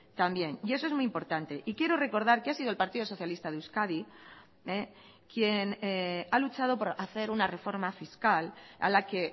también y eso es muy importante y quiero recordar que ha sido el partido socialista de euskadi quien ha luchado por hacer una reforma fiscal a la que